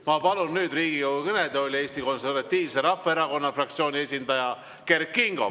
Ma palun nüüd Riigikogu kõnetooli Eesti Konservatiivse Rahvaerakonna fraktsiooni esindaja Kert Kingo.